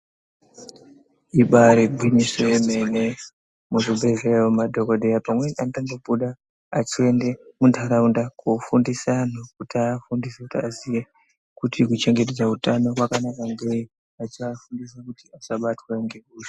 Ibari gwinyiso remene muzvibhedhlera umu madhokodheya pamweni anotombobuda achienda mundaraunda kofundisa anhu kuti afundise kuitira kuchengetedza hutano kwakanaka antu iwowo achiafundisa kuti asabatwa nehosha.